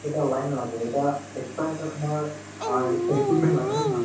এটা line লাগে এটা extra এটা তোমাৰ অ লাগে হয় নে নহয়